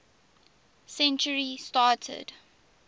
century started